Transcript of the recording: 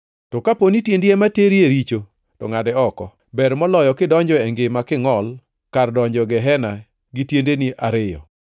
To kapo ni tiendi ema teri e richo to ngʼade oko. Ber moloyo kidonjo e ngima kingʼol kar donjo e gehena gi tiende ariyo, [